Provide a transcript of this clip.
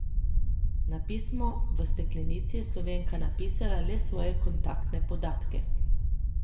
Na pismo v steklenici je Slovenka napisala le svoje kontaktne podatke.